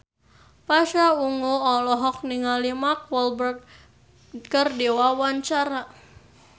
Pasha Ungu olohok ningali Mark Walberg keur diwawancara